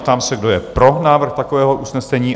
Ptám se, kdo je pro návrh takového usnesení?